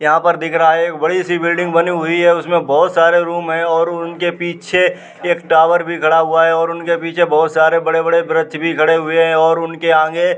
यहाँ पर दिख रहा है। एक बड़ी सी बिल्डिंग बनी हुई है। उसमें बहोत सारे रूम हैं और उनके पीछे एक टावर भी खड़ा हुआ है और उनके पीछे बहोत सारे बड़े-बड़े वृक्ष भी खड़े हुए हैं और उनके आगे --